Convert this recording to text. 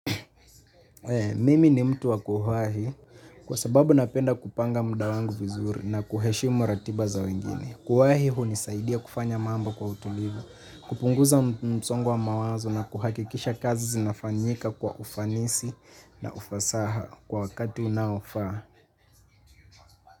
Mimi ni mtu wa kuwahi kwa sababu napenda kupanga muda wangu vizuri na kuheshimu ratiba za wengine. Kuwahi hunisaidia kufanya mambo kwa utulivu, kupunguza msongo wa mawazo na kuhakikisha kazi zinafanyika kwa ufanisi na ufasaha kwa wakati unaofaa.